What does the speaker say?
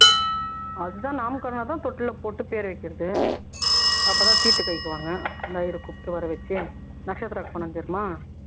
அதுதான் தான் தொட்டில்ல போட்டு பேர் வைக்கிறது அப்பறம் தீட்டு கழிப்பாங்க இந்த ஐயர் கூப்பிட்டு வரவச்சு நட்ஷத்திர அர்ப்பணம் தெரியுமா